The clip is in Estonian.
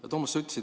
Hea Toomas!